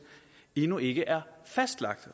endnu ikke er fastlagt